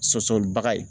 Sɔsɔli baga ye